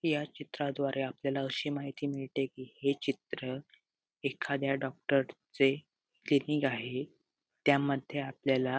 या चित्राद्वारे आपल्याला अशी माहिती मिळते कि हे चित्र एखाद्या डॉक्टर चे क्लिनिक आहे त्यामध्ये आपल्याला --